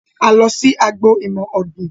A lọ sí agbo ìmọ̀ ọ̀gbín